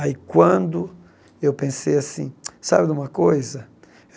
Aí quando eu pensei assim, sabe de uma coisa?